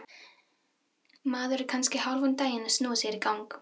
Maður er kannski hálfan daginn að snúa sér í gang.